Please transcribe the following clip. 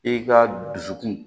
I ka dusukun